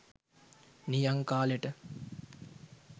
නියං කාලෙට